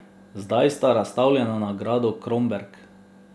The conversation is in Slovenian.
Zdaj sta razstavljena na gradu Kromberk.